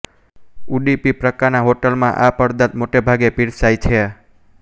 ઉડીપી પ્રકાના હોટલમાં આ પદાર્થ મોટેભાગે પીરસાય છે